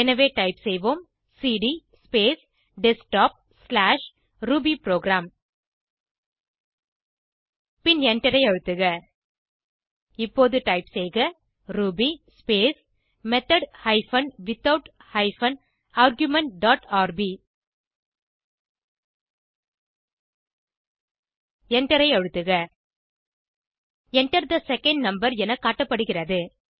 எனவே டைப் செய்போம் cd space desktopரூபிபுரோகிராம் பின் எண்டரை அழுத்துக இப்போது டைப் செய்க Ruby space method hyphen without hyphen argument dot rb எண்டரை அழுத்துக Enter தே செகண்ட் நம்பர் என காட்டப்படுகிறது